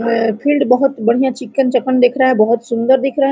Field बहुत चिकन चाकन दिख रहा है बहुत सुंदर दिख रहा है।